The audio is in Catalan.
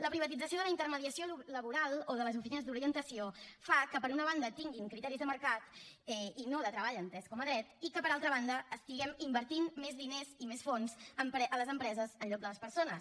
la privatització de la intermediació laboral o de les oficines d’orientació fa que per una banda tinguin criteris de mercat i no de treball entès com a dret i que per altra banda estiguem invertint més diners i més fons a les empreses en lloc de a les persones